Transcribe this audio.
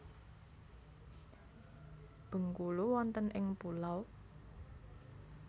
Bengkulu wonten ing pulau?